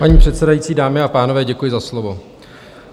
Paní předsedající, dámy a pánové, děkuji za slovo.